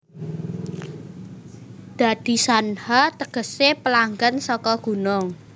Dadi Shanha tegese pelanggan saka gunung